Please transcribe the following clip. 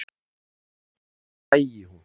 Sennilega sæi hún